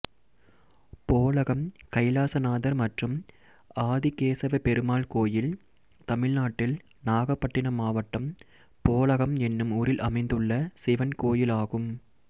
போலகம் கைலாசநாதர் மற்றும் ஆதிகேசவப்பெருமாள் கோயில் தமிழ்நாட்டில் நாகப்பட்டினம் மாவட்டம் போலகம் என்னும் ஊரில் அமைந்துள்ள சிவன் கோயிலாகும்